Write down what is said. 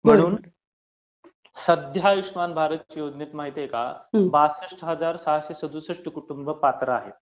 म्हणून सद्धया आयुष्यमान भारत योजनेमध्ये माहित आहे का बासष्ट हजार सहाशे सदुसष्ट कुटुंब पात्र आहेत